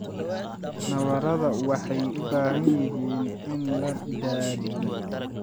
Nabarrada waxay u baahan yihiin in la daadiyo.